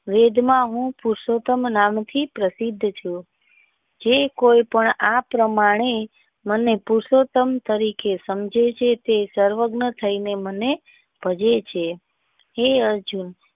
વેદના હું પુરષોતમ નામ થી પ્રશિદ્ધ છું જે કોઈ પણ આ પ્રમાણે નંદ પુરષોતમ તરીકે સમજે છે તે સર્વજ્ઞ થઇ ને મને ભજે છે હે અર્જુન.